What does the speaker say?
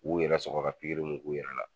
U yɛrɛ sɔkɔ ka pikiri mun k'u yɛrɛ la